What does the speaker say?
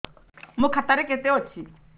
ମୋ ଖାତା ରେ କେତେ ଅଛି